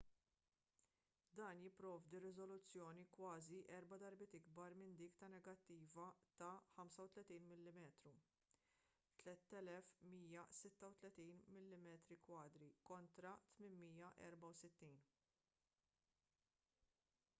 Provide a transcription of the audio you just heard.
dan jipprovdi riżoluzzjoni kważi erba' darbiet ikbar minn dik ta' negattiva ta' 35 mm 3136 mm2 kontra 864